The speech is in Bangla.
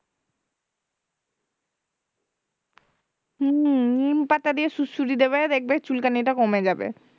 হম নিমপাতা দিয়ে সুড়সুড়ি দেবে দেখবে চুলকানিটা কমে যাবে